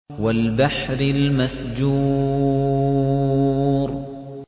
وَالْبَحْرِ الْمَسْجُورِ